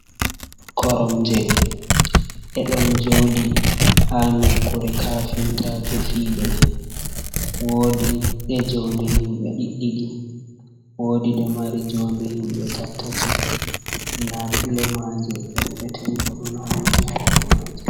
Koromje ɗe ɗon joɗi ha nokkure kafintajo fiyiɗe. Wodi je jounde himɓe ɗiɗɗiɗi wodi je mari jounde himɓe tattati nda pilomaje per petel bo ɗon hauti ha do maje.